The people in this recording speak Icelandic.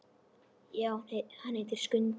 Já, hann heitir Skundi.